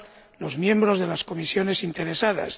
y los miembros de las comisiones interesadas